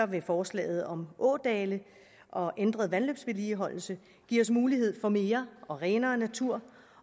vil forslaget om ådale og ændret vandløbsvedligeholdelse give os mulighed for mere og renere natur